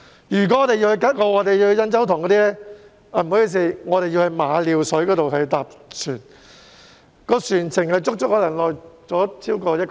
如果我們要前往吉澳或印洲塘，需要在馬料水乘船，船程可能超過1小時。